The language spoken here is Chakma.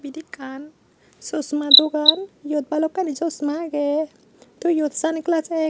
ibet ekkan chosma dogan iyot balokkani chosma agey tey iyot sun glajey ek.